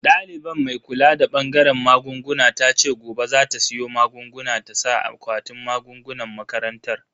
Daliban mai kula da bangaren magunguna tace gobe za ta siyo magunguna ta saka a akwatin magungunan makarantar.